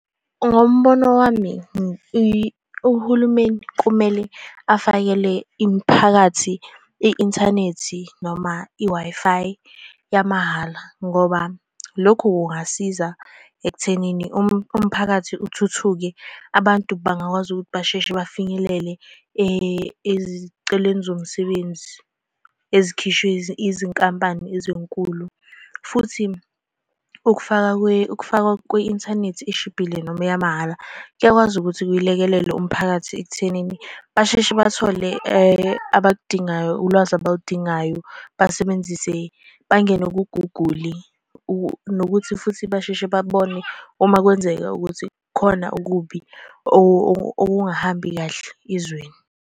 Ngombono wami, uhulumeni kumele afakele imiphakathi i-inthanethi noma i-Wi-Fi yamahhala, ngoba lokhu kungasiza ekuthenini umphakathi uthuthuke. Abantu bangakwazi ukuthi basheshe bafinyelele ezicelweni zomsebenzi ezikhishwe izinkampani ezinkulu, futhi ukufaka ukufakwa kwe-inthanethi eshibhile noma eyamahhala kuyakwazi ukuthi kuyilekelele umphakathi ekuthenini basheshe bathole abaludingayo ulwazi abaludingayo. Basebenzise, bangene ku-Google nokuthi futhi basheshe babone uma kwenzeka ukuthi khona okubi okungahambi kahle ezweni.